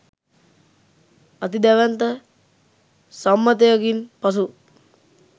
අති දැවැන්ත සම්මතයකින් පසු